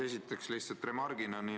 Esiteks, lihtsalt remargina.